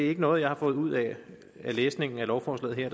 er noget jeg har fået ud af læsningen af lovforslaget her